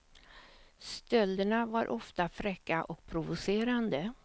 Stölderna var ofta fräcka och provocerande.